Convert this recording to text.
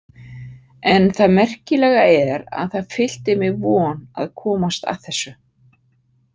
En það merkilega er að það fyllti mig von að komast að þessu.